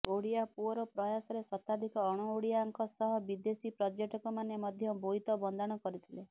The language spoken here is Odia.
ଓଡ଼ିଆ ପୁଅର ପ୍ରୟାସରେ ଶତାଧିକ ଅଣ ଓଡ଼ିଆଙ୍କ ସହ ବିଦେଶୀ ପର୍ଯ୍ୟଟକମାନେ ମଧ୍ୟ ବୋଇତ ବନ୍ଦାଣ କରିଥିଲେ